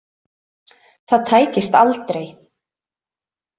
Það tækist aldrei.